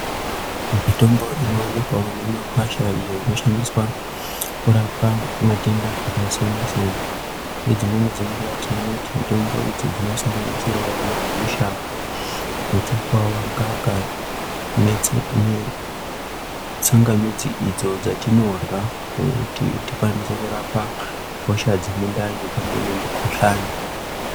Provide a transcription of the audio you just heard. Mitombo inoonekwawo mimakwasha iyo inoshandiswa kurapa matenda akasiyana siyana ngedzimweni dzenguwa tinoona kuti mitombo iyi inosanganisirawo ana gusha, muchukuwawa, ngaka netsa netsamgamidzi idzo dzatinorya kuti tikwanise kurapa hosha dzemundani pamwe nemikhuhlani.